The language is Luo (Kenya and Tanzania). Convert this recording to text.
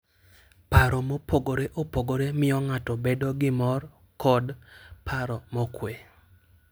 Paro mopogore opogore miyo ng'ato bedo gi mor kod paro mokuwe.